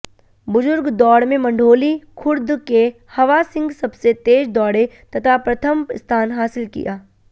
बुजुर्ग दौड़ में मंढोली खुर्द के हवासिंह सबसे तेज दौड़े तथा प्रथम स्थान हासिल किया